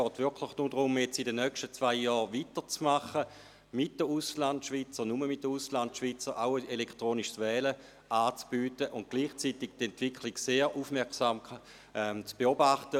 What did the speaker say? Es geht lediglich darum, in den nächsten zwei Jahren weiterzufahren und den Auslandschweizern – nur den Auslandschweizern – auch das elektronische Wählen anzubieten und gleichzeitig die Entwicklung sehr aufmerksam zu beobachten.